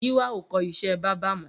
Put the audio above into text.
Giwa ó kọ iṣẹ̀ bàbà mọ